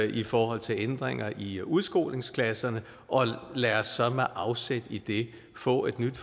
i forhold til ændringer i udskolingsklasserne og lad os så med afsæt i det få et nyt